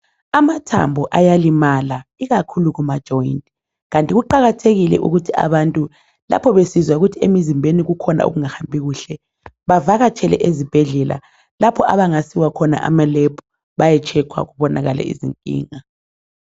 Amathambo ayalimala ikakhulu Kuma joyini .Kanti kuqakathekile ukuthi abantu lapho besizwa ukuthi emizimbeni kukhona okungahambi kuhle . Bavakatshele ezibhedlela lapho abangasiwa khona ema lab baye tshekhwa kubonakale izinkinga .